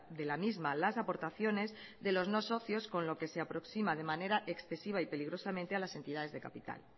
de la misma las aportaciones de los no socios con lo que se aproxima de manera excesiva y peligrosamente a las entidades de capital